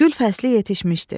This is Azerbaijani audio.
Gül fəsli yetişmişdi.